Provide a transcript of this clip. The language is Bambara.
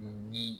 O ni